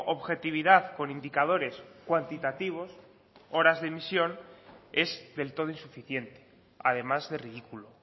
objetividad con indicadores cuantitativos horas de emisión es del todo insuficiente además de ridículo